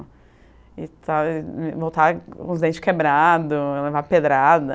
e tals. Voltava com os dentes quebrados, eu levava pedrada.